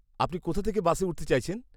আপনি কোথা থেকে বাসে উঠতে চাইছেন?